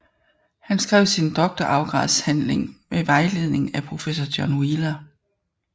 Han skrev sin doktorgradsafhandling med vejledning af professor John Wheeler